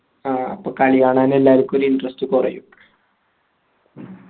ആ അപ്പൊ കളികാണാൻ എല്ലാർക്കും ഒരു interest കൊറയും